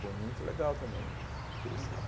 Foi muito legal também eh por esse lado.